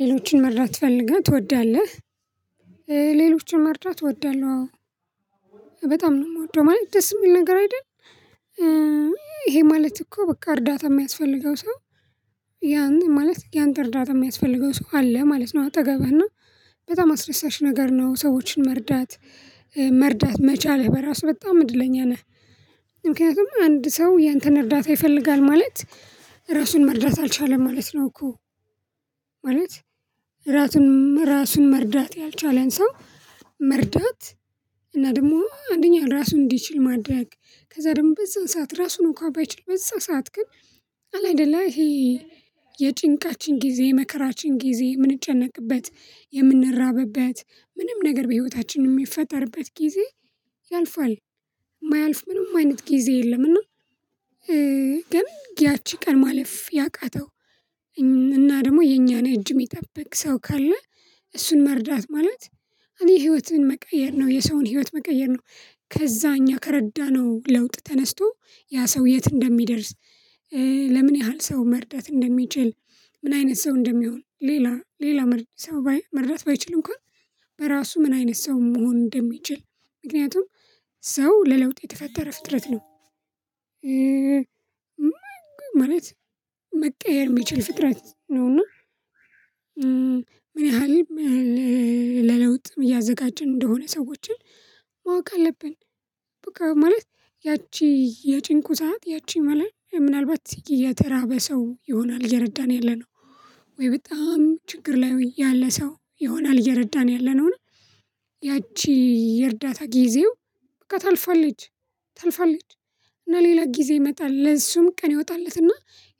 ሌሎችን መርዳት ትፈልገ ትወዳለህ? ሌሎችን መርዳት እወዳለህ አዎ በጣም ነው እምወደው ማለት ደስ እሚል ነገር አደል። ይሄ ማለት እኮ በቃ እርዳታ ሚያስፈልገው ሰው። ያን ማለት ያንተ እርዳታ እሚያስፈልገው ሰው አለ ማለት ነው። አጠገብህና በጣም አስደሳች ነገር ነው ሰዎችን መርዳት። መርዳት መቻልህ በራሱ በጣም እድለኛ ነህ። ምክንያቱም አንድ ሰው ያንተን እርዳታ ይፈልጋል ማለት ራሱን መርዳት አልቻለም ማለት ነው እኮ። ማለት ራሱን መርዳት ያልቻለን ሰው። መርዳት እና ደግሞ አንደኛ ራሱን እንዲችል ማድረግ ከዛ ደግሞ በዛን ሰዓት ራሱን እንኳ ባይችል በዛ ሰዓት ግን አለ አይደለ ይሄ። የጭንቃችን ጊዜ የመከራችን ጊዜ የምንጨነቅበት የምንራብበት ምንም ነገር በህይወታችን የሚፈጠርበት ጊዜ ያልፋል። እማያልፍ ምንም አይነት ጊዜ የለም እና። ግን ያቺ ቀን ማለፍ ያቃተው እና ደግሞ የኛን እጅ እሚጠብቅ ሰው ካለ። እሱን መርዳት ማለት እኔ ህይወትን መቀየር ነው የሰውን ህይወት መቀየር ነው። ከዛ እኛ ከረዳነው ለውጥ ተነስቶ ያ ሰው የት እንደሚደርስ። ለምን ያህል ሰው መርዳት እንደሚችል ምን አይነት ሰው እንደሚሆን ሌላ ሌላ ሰው መርዳት ባይችል እንኳን። በራሱ ምን አይነት ሰው መሆን እንደሚችል ምክንያቱም ሰው ለለውጥ የተፈጠረ ፍጥረት ነው። ማለት መቀየር እሚችል ፍጥረት ነውና። ምን ያህል ለለውጥም እያዘጋጀን እንደሆነ ሰዎችን ማወቅ አለብን። በቃ ማለት ያቺ የጭንቁ ሰዓት ያቺ መለል ምናልባት እየተራበ ሰው ይሆናል እየረዳን ያለነው። ወይ በጣም ችግር ላይ ያለ ሰው ይሆናል እየረዳን ያለነውን። ያቺ የእርዳታ ጊዜው በቃ ታልፋለች ታልፋለች። እና ሌላ ጊዜ ይመጣል ለእሱም ቀን ይወጣለትና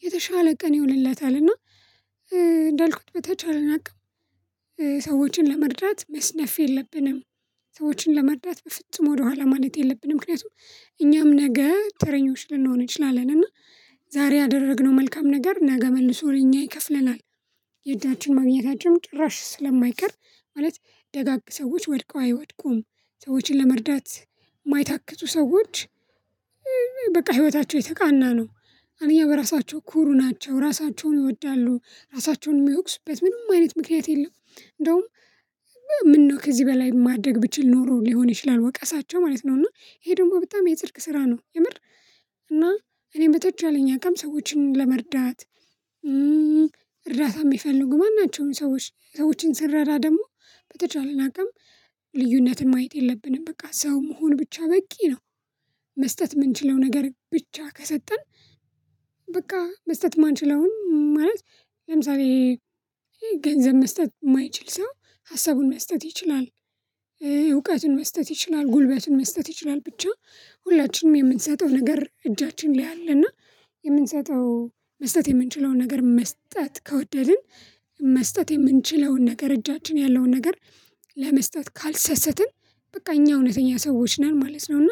የተሻለ ቀን ይሆንለታል። እና እንዳልኩት በተቻለ አቅም ሰዎችን ለመርዳት መስነፍ የለብንም። ሰዎችን ለመርዳት በፍጹም ወደኋላ ማለት የለብንም ምክንያቱም እኛም ነገ ተረኞች ልንሆን እንችላለን። እና ዛሬ ያደረግነው መልካም ነገር ነገ መልሶ ለኛ ይከፍለናል። የእጃችን ማግኘታችን ጭራሽ ስለማይቀር ማለት ደጋግ ሰዎች ወድቀው አይወድቁም ሰዎችን ለመርዳት እማይታክቱ ሰዎች። በቃ ህይወታቸው የተቃና ነው አንደኛ በራሳቸው ኩሩ ናቸው ራሳቸውን ይወዳሉ ራሳቸውን እሚወቅሱበት ምንም አይነት ምክንያት የለም። እንደውም ምነው ከዚህ በላይ ማድረግ ብችል ኖሮ ሊሆን ይችላል ወቀሳቸው ማለት ነው እና ይሄ ደግሞ በጣም የጽድቅ ስራ ነው የምር። እና እኔም በጠቻለኝ አቅም ሰዎችን ለመርዳት። እርዳታ እሚፈልጉ ማናቸውም ሰዎች ሰዎችን ስንረዳ ደግሞ በተቻለና አቅም ልዩነትን ማየት የለብንም በቃ ሰው መሆን ብቻ በቂ ነው። መስጠት እምንችለው ነገር ብቻ ከሰጠን በቃ መስጠት እማንችለውን ማለት ለምሳሌ ገንዘብ መስጠት እማይችል ሰው ሀሳቡን መስጠት ይችላል። እውቀቱን መስጠት ይችላል ጉልበቱን መስጠት ይችላል ብቻ። ሁላችንም የምንሰጠው ነገር እጃችን ላይ አለ እና። የምንሰጠው መስጠት የምንችለውን ነገር መስጠት ከወደድን መስጠት የምንችለውን ነገር እጃችን ያለውን ነገር። ለመስጠት ካልሰሰትን በቃ እኛ እውነተኛ ሰዎች ነን ማለት ነው። እና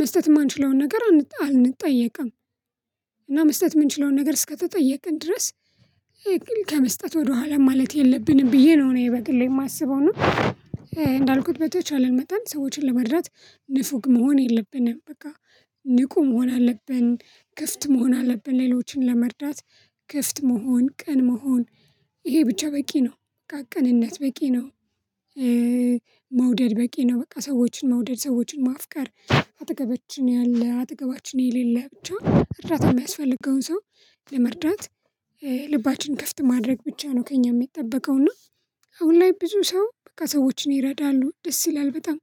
መስጠት እማንችለውን ነገር አንጠየቅም። እና መስጠት እምንችለውን ነገር እስከተጠየቅን ድረስ። ከመስጠት ወደኋላ ማለት የለብንም ብዬ ነው እኔ በግሌ እማስበው እና። እንዳልኩት በተቻለን መጠን ሰዎችን ለመረዳት ንፉግ መሆን የለብንም በቃ። ንቁ መሆን አለብን ክፍት መሆን አለብን ሌሎችን ለመርዳት ክፍት መሆን ቅን መሆን ይሄ ብቻ በቂ ነው። ቅንነት በቂ ነው። መውደድ በቂ ነው በቃ ሰዎችን መውደድ ሰዎችን ማፍቀር። አጠገባችን ያለ አጠገባችን የሌለ ብቻ እርዳታ እሚያስፈልገውን ሰው ለመርዳት ልባችን ክፍት ማድረግ ብቻ ነው ከእኛ እሚጠበቀው እና። አሁን ላይ ብዙ ሰው በቃ ሰዎችን ይረዳሉ ደስ ይላል በጣም።